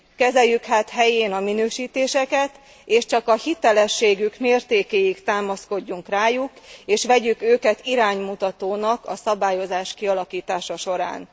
Kezeljük hát helyén a minősítéseket, és csak a hitelességük mértékéig támaszkodjunk rájuk, és vegyük őket iránymutatónak a szabályozás kialakítása során.